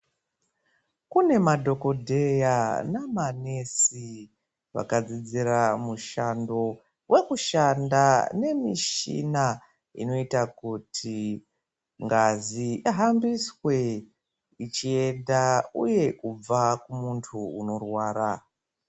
Kunemadhokodheya namanesi vakadzidzira mushando wekushanda nemishina inoita kuti ngazi ihambiswe ichienda uye kubva kumunhu unorwara.